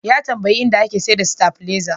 Ya tambayi inda ake saida sitabileza.